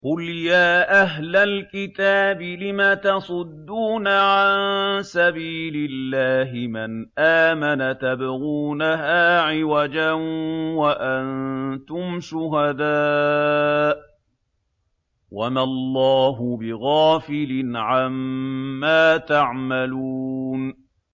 قُلْ يَا أَهْلَ الْكِتَابِ لِمَ تَصُدُّونَ عَن سَبِيلِ اللَّهِ مَنْ آمَنَ تَبْغُونَهَا عِوَجًا وَأَنتُمْ شُهَدَاءُ ۗ وَمَا اللَّهُ بِغَافِلٍ عَمَّا تَعْمَلُونَ